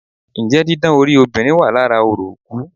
Njẹ́ didán orí obìnrin wà lára orò òkú?